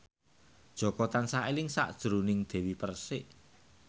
Jaka tansah eling sakjroning Dewi Persik